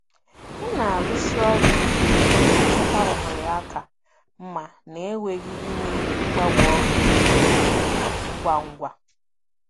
M na-arụsi ọrụ ike iji chọta ohere ka mma na-enweghị ime mgbanwe ọrụ ngwa ngwa.